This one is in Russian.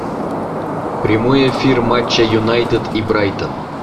прямой эфир матча юнайтед и брайтон